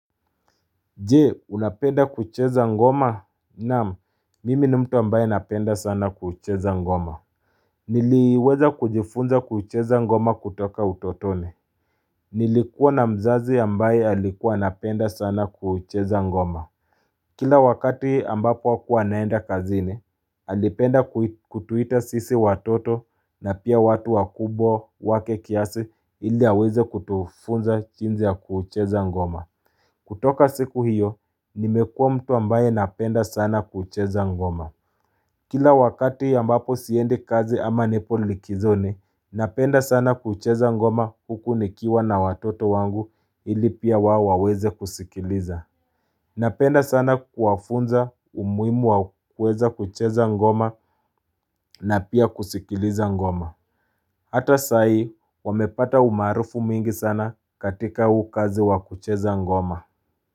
Je, unapenda kucheza ngoma? Naam, mimi ni mtu ambaye napenda sana kucheza ngoma. Niliweza kujifunza kucheza ngoma kutoka utotone. Nilikuwa na mzazi ambaye alikuwa anapenda sana kucheza ngoma. Kila wakati ambapo hakua anaenda kazini, alipenda kutuita sisi watoto na pia watu wakubwa wake kiasi ili aweze kutufunza jinsi ya kucheza ngoma. Kutoka siku hiyo, nimekua mtu ambaye napenda sana kucheza ngoma. Kila wakati ambapo siendi kazi ama nipo likizoni, napenda sana kucheza ngoma huku nikiwa na watoto wangu ili pia wao waweze kusikiliza. Napenda sana kuwafunza umuhimu wa kueza kucheza ngoma na pia kusikiliza ngoma. Hata sai, wamepata umaarufu mingi sana katika huu kazi wa kucheza ngoma.